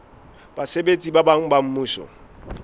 basebetsi ba bang ba mmuso